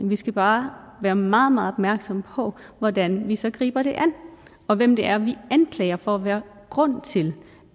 vi skal bare være meget meget opmærksomme på hvordan vi så griber det an og hvem det er vi anklager for at være grund til